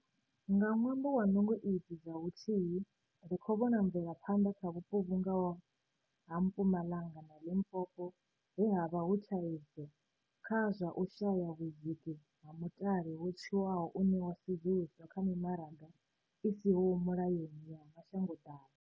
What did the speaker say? Nga ṅwambo wa nungo idzi dza vhuthihi, ri khou vhona mvelaphanḓa kha vhupo vhu nga ho ha Mpumalanga na Limpopo he ha vha hu thaidzo kha zwa u shaya vhudziki ha mutale wo tswiwaho une wa sudzuluselwa kha mimaraga i siho mulayoni ya mashangoḓavha.